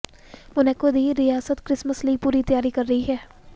Monaco ਦੀ ਰਿਆਸਤ Christmas ਲਈ ਪੂਰੀ ਤਿਆਰੀ ਕਰ ਰਹੀ ਹੈ